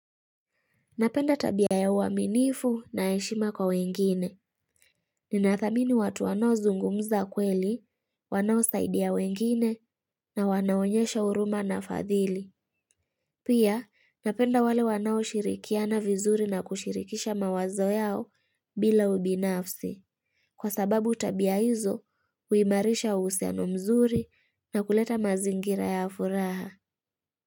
Napenda tabia ya uaminifu na heshima kwa wengine. Ninathamini watu wanao zungumza kweli, wanao saidia wengine na wanaonyesha huruma na fadhili. Pia, napenda wale wanao shirikiana vizuri na kushirikisha mawazo yao bila ubinafsi. Kwa sababu tabia hizo, huimarisha uhusiano mzuri na kuleta mazingira ya furaha.